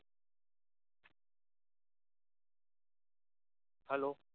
hello